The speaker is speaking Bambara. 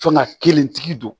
Fanga kelentigi don